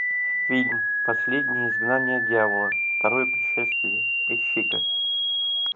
фильм последнее изгнание дьявола второе пришествие ищи ка